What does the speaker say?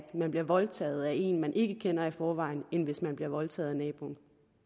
man bliver voldtaget af en man ikke kender i forvejen end hvis man bliver voldtaget af naboen